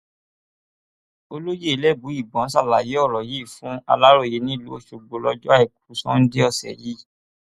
olóyè elébùíbọn ṣàlàyé ọrọ yìí fún aláròye nílùú ọṣọgbó lọjọ àìkú sannde ọsẹ yìí